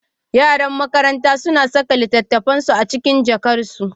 Yaran makaranta suna saka littattafansu a cikin jakarsu